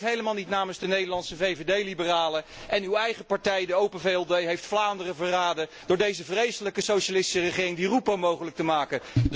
U spreekt helemaal niet namens de Nederlandse VVD liberalen, en uw eigen partij, de Open VLD, heeft Vlaanderen verraden door deze vreselijke socialistische regering Di Rupo mogelijk te maken.